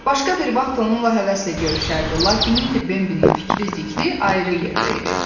Başqa bir vaxt onunla həvəslə görüşərdi, lakin indi Bambinin fikri-zikri ayrı yerdə idi.